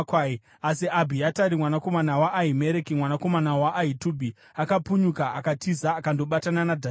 Asi Abhiatari, mwanakomana waAhimereki, mwanakomana waAhitubhi, akapunyuka akatiza akandobatana naDhavhidhi.